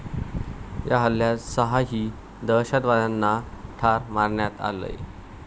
या हल्ल्यात सहाही दहशतवाद्यांना ठार मारण्यात आलंय.